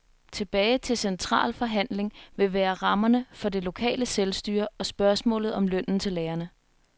Tilbage til central forhandling vil være rammerne for det lokale selvstyre og spørgsmålet om lønnen til lærerne.